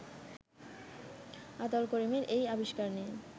আতাউল করিমের এই আবিস্কার নিয়ে